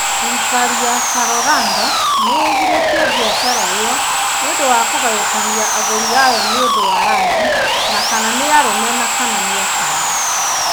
Thirikari ya Colorado nĩ ĩgirĩtie biacara ĩo nĩũndũ wa kũgayũkania agũri ao nĩ ũndũ wa rangi ,na kana nĩ arũme kana nĩ atumia.